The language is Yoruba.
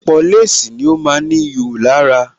Ọ̀pọ̀ léèsì ni ó ma ń ní ihò lára